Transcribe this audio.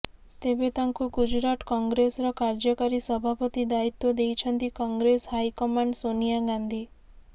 ତେବେ ତାଙ୍କୁ ଗୁଜୁରାଟ କଂଗ୍ରେସର କାର୍ଯ୍ୟକାରୀ ସଭାପତି ଦାୟିତ୍ୱ ଦେଇଛନ୍ତି କଂଗ୍ରେସ ହାଇକମାଣ୍ଡ ସୋନିଆ ଗାନ୍ଧୀ